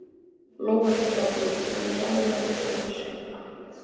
Lóa litla á Brú, hún er lagleg enn, söng hann.